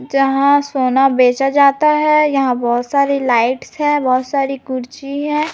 यहां सोना बेचा जाता है यहां बहुत सारी लाइट्स हैं बहुत सारी कुर्सी है।